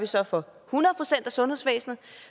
så for hundrede procent af sundhedsvæsenet